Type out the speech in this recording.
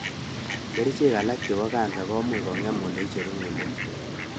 Kerchek alak chepo kansa komuch kong'en oleinemu ng'ulek